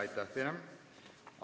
Aitäh teile!